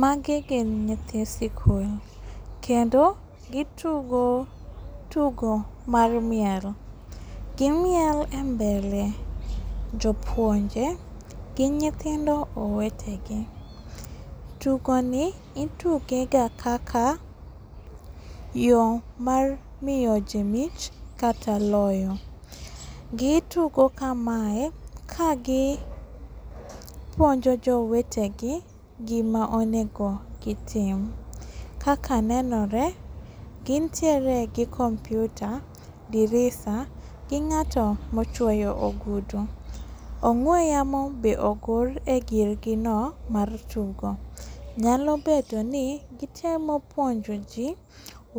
Magi gin nyithi skul. Kendo gi tugo tugo mar miel. Gi miel embele jopuonje gi nyithindo owetegi. Tugoni itugega kaka yo mar miyo ji mich kata loyo. Gi tugo kamae kagi puonjo jowetegi gima onego gitim. Kaka nenore gintiere gi kompyuta gi visa gi ng'ato mochuoyo ogudu. Ong'we yamo be ogor egirgino mar tugo. Nyalo bedoni gi temo puonjoji